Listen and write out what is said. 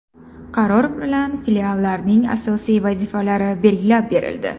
Qaror bilan Filiallarning asosiy vazifalari belgilab berildi.